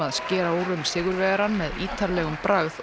skera úr um sigurvegarann með ítarlegum bragð og